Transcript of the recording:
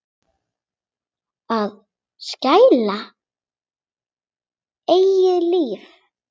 Að skilja eigið líf.